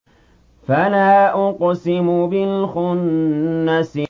فَلَا أُقْسِمُ بِالْخُنَّسِ